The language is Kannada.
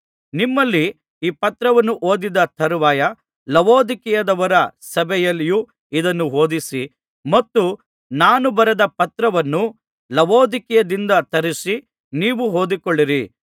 ನಿಮ್ಮಲ್ಲಿ ಈ ಪತ್ರವನ್ನು ಓದಿದ ತರುವಾಯ ಲವೊದಿಕೀಯದವರ ಸಭೆಯಲ್ಲಿಯೂ ಇದನ್ನು ಓದಿಸಿರಿ ಮತ್ತು ನಾನು ಬರೆದ ಪತ್ರವನ್ನು ಲವೊದಿಕೀಯದಿಂದ ತರಿಸಿ ನೀವೂ ಓದಿಕೊಳ್ಳಿರಿ